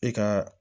E ka